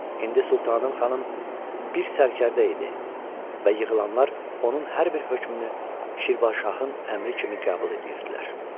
İndi Sultanım xanım bir sərkərdə idi və yığılanlar onun hər bir hökmünü Şirvan şahın əmri kimi qəbul eləyirdilər.